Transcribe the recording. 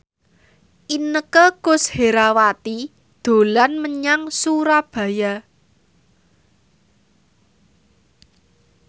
Inneke Koesherawati dolan menyang Surabaya